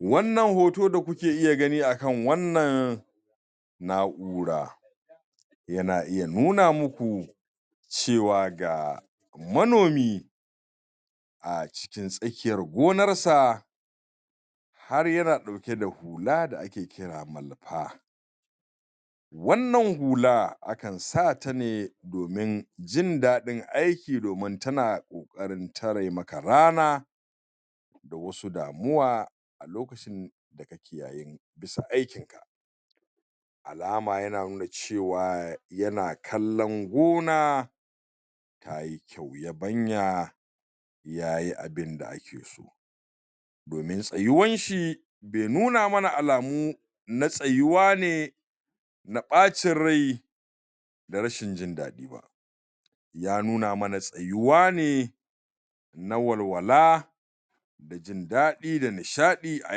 wannan hoto da kuke iya gani akan wannan na'ura yana iya nuna muku cewa ga manomi a cikin tsakiyar gonarsa har yana ɗauke da hula da ake kira malfa wannan hula akan sata ne domin jindaɗin aiki domin tana ƙoƙarin tare maka rana da wasu damuwa a lokacin da kake yayin bisa aikinka alama yana nuna cewa yana kallan gona tayi kyau yabanyi yayi abinda akeso domin tsayuwanshi be nuna mana alamu na tsayuwa ne na bacin rai da rashin jindadi ba ya nuna mana tsayuwane na walwala da jindaɗi da nishaɗi a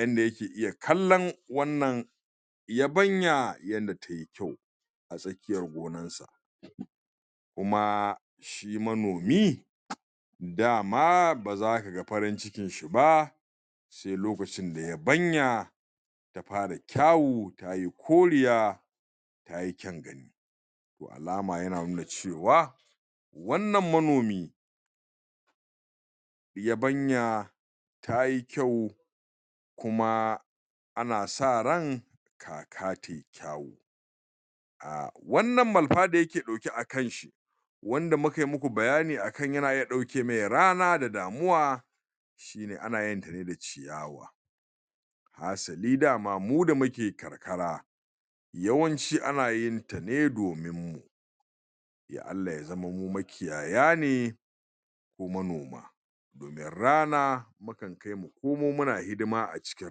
yanda yake iya kallan wannan yabanya yanda tayi kyau a tsakiyar gonarsa koma shi manomi dama baza kaga farin cikinshi ba sai lokacin da yabanya ta fara kyawu tayi koriya tayi ƙyangan toi alama yana nuna cewa wannan manomi yabanya tayi kyau kuma ana sa ran kaka tayi ƙyawu wannan malafa da yake ɗauke a kanshi wanda mukayi muku bayani akan yana iya ɗauke mai rana da damuwa shine anayinta ne da ciyawa hasali dama mu da muke karkara yawanci anayinta ne domin la'allaya zama mu makiyaya ne ko manoma idan rana mukan kai mu komo a cikin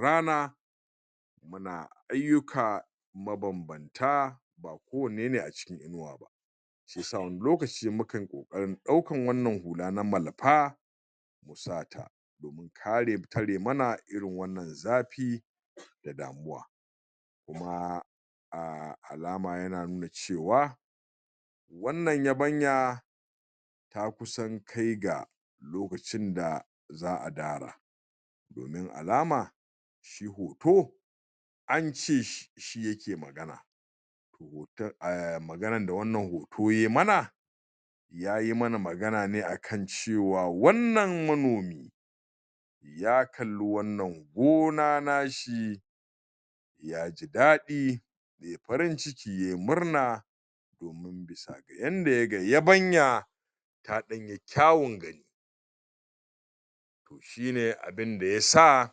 rana muna aiyuka mabanbanta ba ko wanne ne a cikin inuwa ba shiyasa wani lokaci mukan ƙoƙarin ɗaukan wannan hula na malafa musata domin tare mana irin wannan zafi da damuwa kuma alama yana nuna cewa wannan yabanya ta kusa kai ga lokacin da za a dara domin alama shi hoto ance shi yake magana maganan da wannan hoto yayi mana yayi mana magana ne akan cewa wannan manomi ya kalli wannan gona nashi yaji daɗi yayi farin cikin yayi murna domin bisa ga yanda yaga yabanya ta danyi kyawun gani shine abunda yasa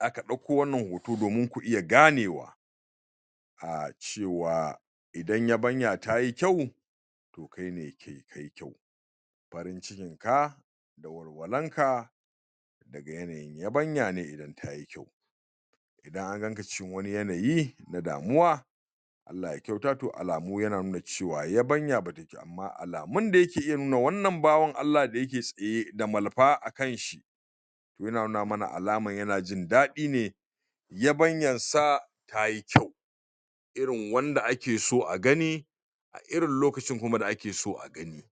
aka ɗauko wannan hoto domin ku iya ganewa acewa idan yabanya tayi kyau to kai ne ke kayi kyau farin cikinka da walwalanka daga yanayin yabanya ne idan tayi myau idan anganka cikin wani yanayi na damuwa Allah ya kyauta to alamu yana nuna cewa yabanya batayi kyau amma alamun da yake nuna wannan bawan Allah da yake tsaye da malafa a kanshi to yana nuna mana alaman yana jindaɗi ne yabanyansa tayi kyau irin wanda akeso a gani a irin lokacin da kuma akeso a gani